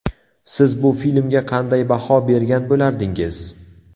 Siz bu filmga qanday baho bergan bo‘lardingiz?